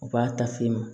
U b'a ta f'i ma